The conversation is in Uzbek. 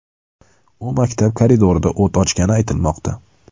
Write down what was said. U maktab koridorida o‘t ochgani aytilmoqda.